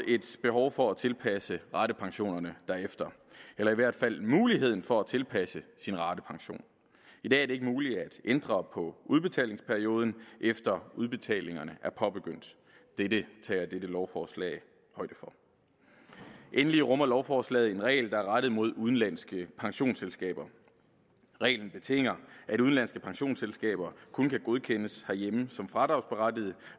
et behov for at tilpasse ratepensionerne derefter eller i hvert fald muligheden for at tilpasse sine ratepension i dag er det ikke muligt at ændre på udbetalingsperioden efter udbetalingerne er påbegyndt det det tager dette lovforslag højde for endelig rummer lovforslaget en regel der er rettet mod udenlandske pensionsselskaber reglen betinger at udenlandske pensionsselskaber kun kan godkendes herhjemme som fradragsberettigede